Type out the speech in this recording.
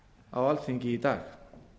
á alþingi í dag